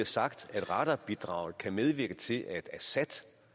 sagt at radarbidraget kan medvirke til at assad